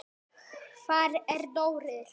Hvar er Dóri?